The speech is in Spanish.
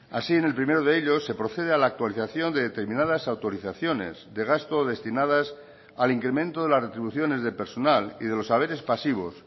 así en el primero de ellos se procede a la actualización de determinadas autorizaciones de gasto destinadas al incremento de las retribuciones de personal y de los haberes pasivos